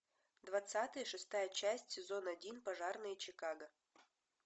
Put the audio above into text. двадцатый шестая часть сезон один пожарные чикаго